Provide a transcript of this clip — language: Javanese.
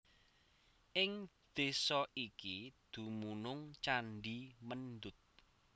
Ing desa iki dumunung candhi Mendut